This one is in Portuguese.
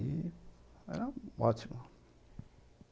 E era ótimo.